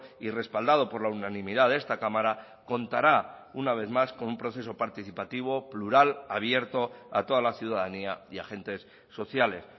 y respaldado por la unanimidad de esta cámara contará una vez más con un proceso participativo plural abierto a toda la ciudadanía y agentes sociales